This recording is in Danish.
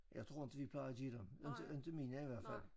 Jeg tror det plejer de inte inte mine i hvert fald